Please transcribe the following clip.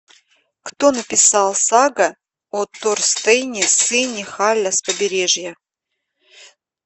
кто написал сага о торстейне сыне халля с побережья